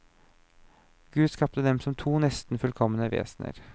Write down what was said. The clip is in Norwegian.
Gud skapte dem som to nesten fullkomne vesener.